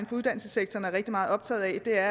for uddannelsessektoren er rigtig meget optaget af